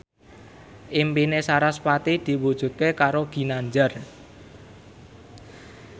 impine sarasvati diwujudke karo Ginanjar